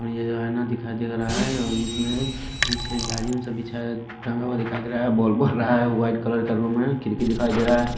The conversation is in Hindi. और ये ऐना दिखाई दे रहा है और इसमें पीछे जाजीम सा बिछाय टंगा हुआ दिखाई दे रहा है बॉल बॉल रहा है व्हाईट कलर का रूम है खिड़की दिखाई दे रहा है।